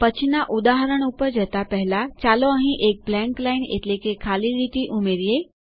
પછીના ઉદાહરણ ઉપર જતા પહેલાચાલો અહીં એક બ્લેન્ક લાઈન એટલેકે ખાલી લીટી ઉમેરીએ